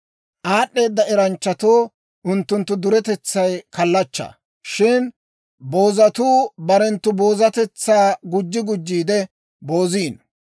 Aad'd'eeda eranchchatoo unttunttu duretetsay kallachchaa; shin boozatuu barenttu boozatetsaa gujji gujjiide booziino.